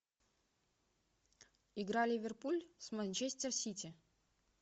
игра ливерпуль с манчестер сити